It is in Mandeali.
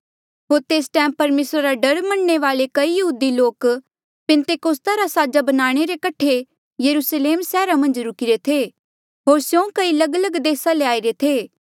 होर तेस टैम परमेसरा रा डर मनणे वाले कई यहूदी लोक पैंतीकोस्ता रा साजा बनाणे रे कठे यरुस्लेम सैहरा मन्झ रुकिरे थे होर स्यों कई लगलग देसा ले आईरे थे